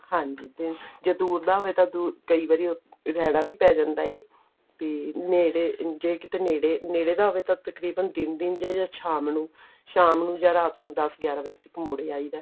ਹਾਂਜੀ ਜਦੋਂ ਜੇ ਦੂਰ ਦਾ ਹੋਵੇ ਕਈ ਵਰੀ ਦੁਰ ਰਹਿਣਾ ਵੀ ਪੈ ਜਾਂਦਾ ਏ ਤੇ ਨੇੜੇ ਜੇ ਕੀਤੇ ਨੇੜੇ ਨੇੜੇ ਦਾ ਹੋਵੇ ਤਾਂ ਤਕਰੀਬਨ ਦਿਨ ਜਾਂ ਫਿਰ ਸ਼ਾਮ ਨੂੰ ਸ਼ਾਮ ਨੂੰ ਜਾਂ ਰਾਤ ਨੂੰ ਦੱਸ ਗਿਆਰਾਂ ਵਜੇ ਤੱਕ ਮੁੜ ਆਈਦਾ